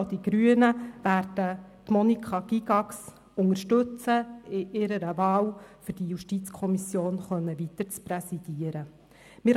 Auch die Grünen werden Monika Gygax in ihrer Wahl unterstützen, damit sie die JuKo weiter präsidieren kann.